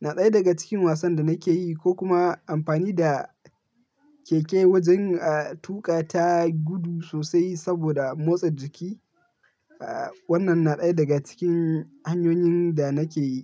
na ɗaya daga cikin wasan da nake yi ko kuma amfani da keke wajen a tuƙa ta gudu sosai saboda motsa jiki. Aaa, wannan na ɗaya daga cikin hanyoyin da nake yi.